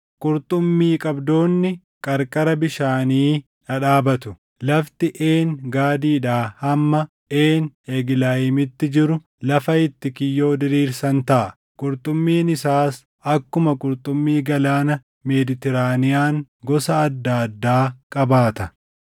Qurxummii qabdoonni qarqara bishaanii dhadhaabatu; lafti Een Gaadiidhaa hamma Een Eglayiimiitti jiru lafa itti kiyyoo diriirsan taʼa; qurxummiin isaas akkuma qurxummii Galaana Meeditiraaniyaan gosa adda addaa qabaata.